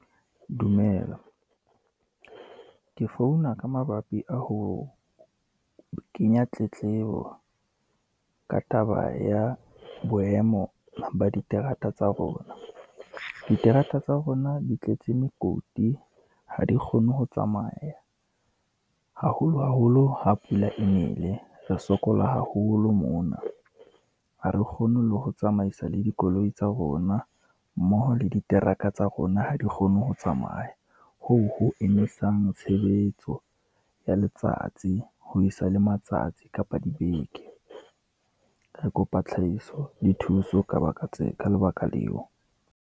Dumela, ke founa ka mabapi a ho kenya tletlebo ka taba ya boemo ba diterata tsa rona. Diterata tsa rona di tletse mekoti ha di kgone ho tsamaya, haholo haholo ha pula e nele, re sokola haholo mona, ha re kgone le ho tsamaisa le dikoloi tsa rona, mmoho le diteraka tsa rona ho re kgone ho tsamaya. Hoo ho emisang tshebetso ya letsatsi, ho isa le matsatsi kapa dibeke, re kopa tlhahiso le thuso, ka lebaka leo.